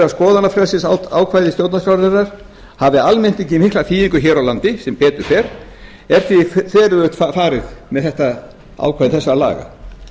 skoðanafrelsisákvæði stjórnarskrárinnar hafi almennt ekki mikla þýðingu hér á landi sem betur fer er því þveröfugt farið með ákvæði þessara laga